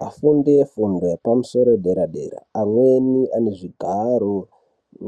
Vafundi vefundo yepamusoro yepaderadera amweni anezvigaro